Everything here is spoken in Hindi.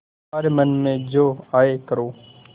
तुम्हारे मन में जो आये करो